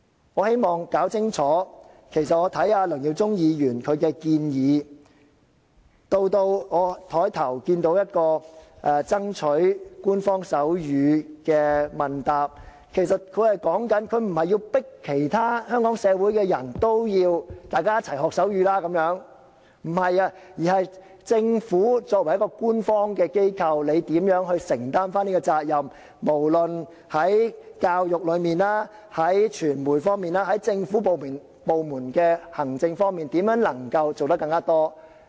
我希望弄清楚，我看梁耀忠議員的建議，以至我在桌上看到一份有關爭取手語成為官方語言的問答文件，其實說的不是要迫使香港其他社會人士要一起學習手語，而是作為官方機構的政府怎樣承擔責任，無論在教育、傳媒、政府部門的行政方面怎樣能夠做得更多。